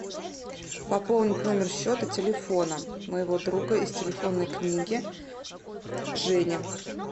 пополнить номер счета телефона моего друга из телефонной книги женя